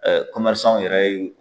yɛrɛ ye